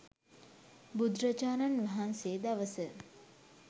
බුදුරජාණන් වහන්සේ දවස,